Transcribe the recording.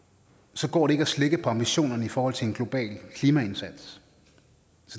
så går det ikke at slække på ambitionerne i forhold til en global klimaindsats